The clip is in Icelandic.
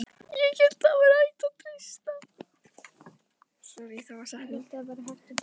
ÉG HÉLT AÐ ÞAÐ VÆRI HÆGT AÐ TREYSTA